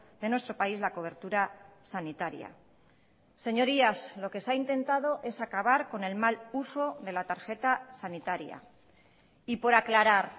de nuestro país la cobertura sanitaria señorías lo que se ha intentado es acabar con el mal uso de la tarjeta sanitaria y por aclarar